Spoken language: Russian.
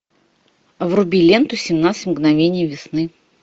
вруби ленту семнадцать мгновений весны